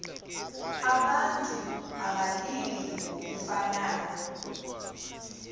abantu abalili ngokufanayo